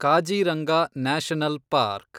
Kaziranga national park